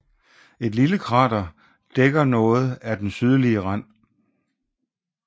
Et lille krater dækker noget af den sydlige rand